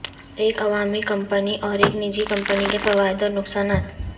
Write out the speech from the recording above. ایک عوامی کمپنی اور ایک نجی کمپنی کے فوائد اور نقصانات